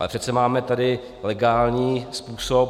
Ale přece tady máme legální způsob.